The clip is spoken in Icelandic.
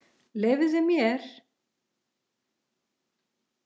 Leyfðu mér!